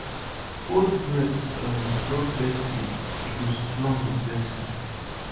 hold breath um drop first seed e go strong with blessing